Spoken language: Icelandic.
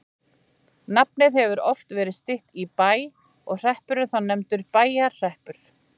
Nafnið hefur oft verið stytt í Bæ og hreppurinn þá nefndur Bæjarhreppur.